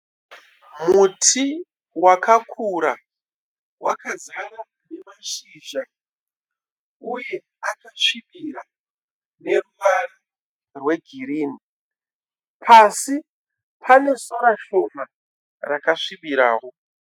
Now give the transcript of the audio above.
Muti wakakura wakazara nemashizha uye akasvibira neruvara rwegirinhi. Pasi pane sora shoma rakasvibirawo.